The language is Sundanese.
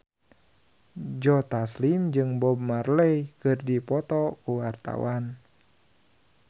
Joe Taslim jeung Bob Marley keur dipoto ku wartawan